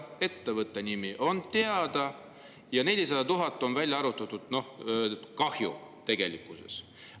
Ettevõtte nimi on teada ja arvutuste kohaselt on tegelik kahju 400 000 eurot.